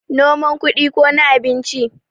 noman kudi ko na abinci?